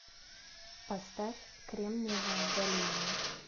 поставь кремниевая долина